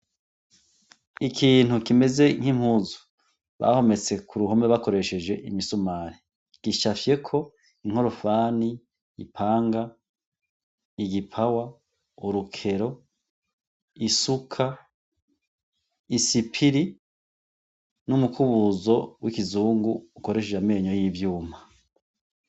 Ikintu kimeze n'impuzu bahometse ku ruhome bakoresheje imisumari. Gicafyeko inkorofani, ipanga, igipawa, urukero, isuka, isipiri n'umukubuzo w'ikizungu ukoreshejwe amenyo y'ivyuma.